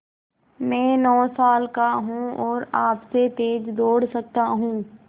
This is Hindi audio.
मैं नौ साल का हूँ और आपसे तेज़ दौड़ सकता हूँ